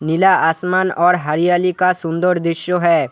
नीला आसमान और हरियाली का सुंदर दृश्य है।